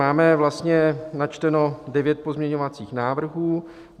Máme vlastně načteno devět pozměňovacích návrhů.